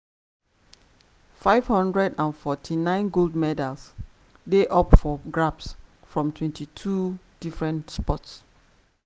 549 gold medals dey up for grabs from 22 different sports.